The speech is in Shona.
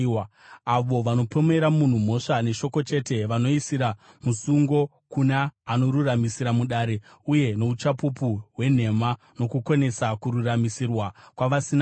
avo vanopomera munhu mhosva neshoko chete, vanoisira musungo kuna anoruramisira mudare, uye nouchapupu hwenhema, vanokonesa kururamisirwa kwavasina mhosva.